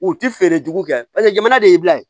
U ti feere jugu kɛ paseke jamana de ye bila ye